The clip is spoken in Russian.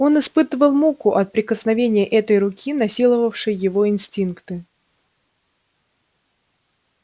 он испытывал муку от прикосновения этой руки насиловавшей его инстинкты